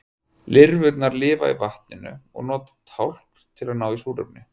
lirfurnar lifa í vatninu og nota tálkn til að ná í súrefni